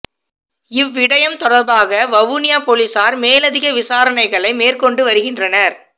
இவ் விடயம் தொடர்பாக வவுனியாப் பொலிசார் மேலதிக விசாரணைகளை மெர்கொண்டு வருகின்றனர்